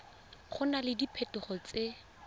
go na le diphetogo tse